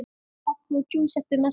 Kaffi og djús eftir messu.